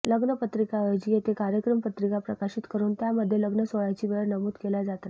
लग्नपत्रिकाऐवजी येथे कार्यक्रम पत्रिका प्रकाशित करुन त्यामध्ये लग्नसोहळयाची वेळ नमूद केल्या जाते